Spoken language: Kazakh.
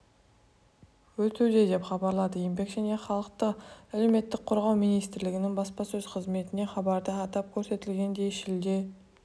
өтуде деп хабарлады еңбек және халықты әлеуметтік қорғау министрлігінің баспасөз қызметінен хабарда атап көрсетілгендей шілде